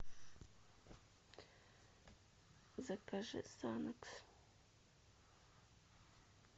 закажи санокс